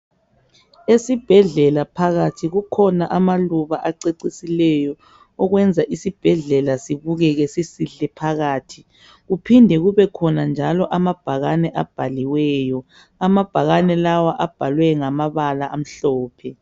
Esibhedlela phakathi kukhona amaluba acecisileyo okwenza isibhedlela sibukeke sisihle phakathi kuphinde kubekhona njalo amabhakane abhaliweyo amabhakane lawa abhalwe ngamabala amhlophe.